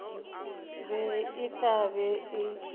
be e tla be e